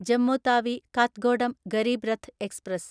Jammu Tawi Kathgodam Garib Rath express